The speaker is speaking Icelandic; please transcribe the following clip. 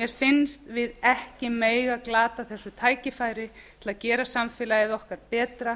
mér finnst við ekki mega glata þessu tækifæri til að gera samfélagið okkar betra